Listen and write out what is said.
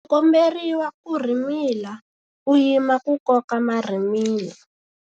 U komberiwa ku rhimila u yima ku koka marhimila.